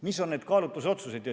Mis on need kaalutlusotsused?